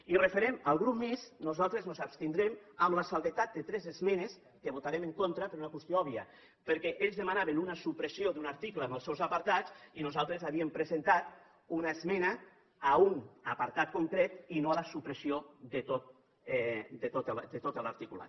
i referent al grup mixt nosaltres ens abstindrem amb l’excepció de tres esmenes que hi votarem en contra per una qüestió òbvia perquè ells demanaven una supressió d’un article amb els seus apartats i nosaltres havíem presentat una esmena a un apartat concret i no a la supressió de tot l’articulat